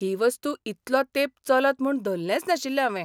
ही वस्तू इतलो तेंप चलत म्हूण धल्लेंच नाशिल्लें हावें.